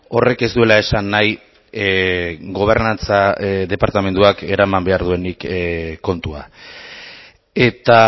horrek ez duela esan nahi gobernantza departamentuak eraman behar duenik kontua eta